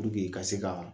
ka se ka